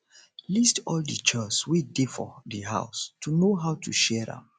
list all di chores wey dey for di house to know how to share am